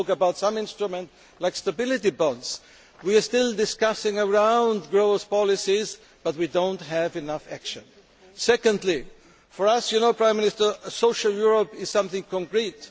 You spoke about some instruments such as stability bonds. We are still discussing growth policies, but we do not have enough action. Secondly, for us as you know, Prime Minister a social Europe is something concrete.